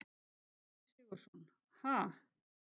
Egill Sigurðsson: Ha?